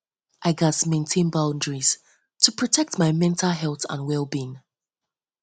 i gats maintain boundaries to protect my mental health mental health and wellbeing